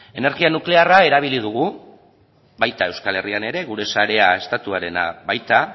energia nuklearra erabili dugu baita euskal herrian ere gure sarea estatuarena baita